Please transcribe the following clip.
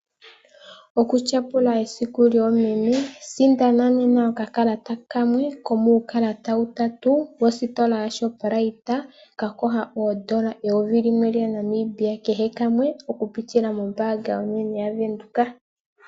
Oku tyapula esiku lyoomeme. Sindana nena okakalata kamwe komuukalata utatu wositola yaShoprite ka kosha oondola eyovi limwe lyaNamibia kehe kamwe oku pitila mombaanga onene yaVenduka.